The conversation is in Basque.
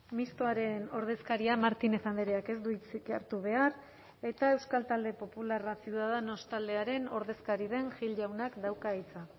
mistoaren ordezkaria martínez andreak ez du hitzik hartu behar eta euskal talde popularra ciudadanos taldearen ordezkari den gil jaunak dauka hitza